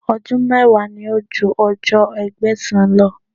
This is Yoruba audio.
Ọdún mẹ́wàá ní ju ọjọ́ Ẹgbẹ̀sán lọ.